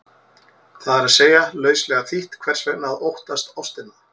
Það er að segja, lauslega þýtt, hvers vegna að óttast ástina?